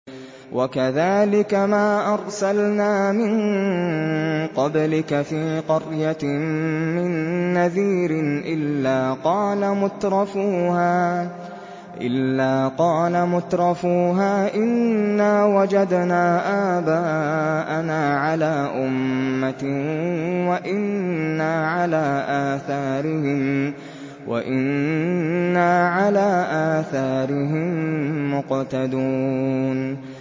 وَكَذَٰلِكَ مَا أَرْسَلْنَا مِن قَبْلِكَ فِي قَرْيَةٍ مِّن نَّذِيرٍ إِلَّا قَالَ مُتْرَفُوهَا إِنَّا وَجَدْنَا آبَاءَنَا عَلَىٰ أُمَّةٍ وَإِنَّا عَلَىٰ آثَارِهِم مُّقْتَدُونَ